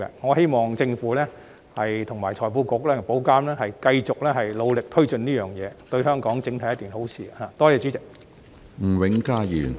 我希望政府、財庫局及保監局繼續努力推進此事，因為對香港整體而言是一件好事。